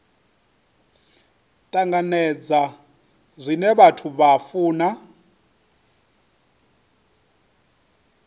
tanganedza zwine vhathu vha funa